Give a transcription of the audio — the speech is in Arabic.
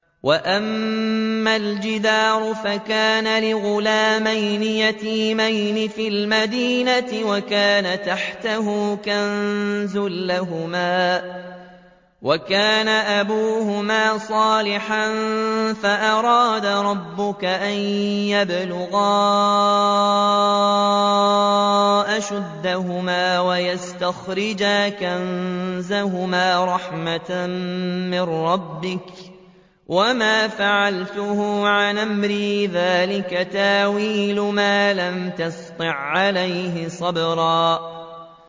وَأَمَّا الْجِدَارُ فَكَانَ لِغُلَامَيْنِ يَتِيمَيْنِ فِي الْمَدِينَةِ وَكَانَ تَحْتَهُ كَنزٌ لَّهُمَا وَكَانَ أَبُوهُمَا صَالِحًا فَأَرَادَ رَبُّكَ أَن يَبْلُغَا أَشُدَّهُمَا وَيَسْتَخْرِجَا كَنزَهُمَا رَحْمَةً مِّن رَّبِّكَ ۚ وَمَا فَعَلْتُهُ عَنْ أَمْرِي ۚ ذَٰلِكَ تَأْوِيلُ مَا لَمْ تَسْطِع عَّلَيْهِ صَبْرًا